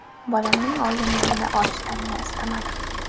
Bolamning organlarini olishlarini istamadim.